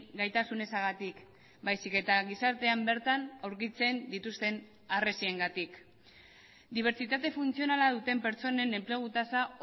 gaitasun ezagatik baizik eta gizartean bertan aurkitzen dituzten harresiengatik dibertsitate funtzionala duten pertsonen enplegu tasa